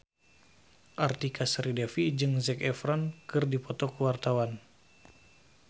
Artika Sari Devi jeung Zac Efron keur dipoto ku wartawan